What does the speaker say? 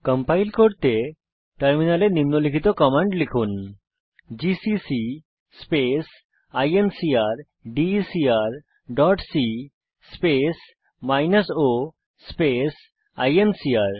compile করতে টার্মিনালে নিম্নলিখিত কমান্ড লিখুন জিসিসি স্পেস ইনকারডেকার dot c space minus o space INCR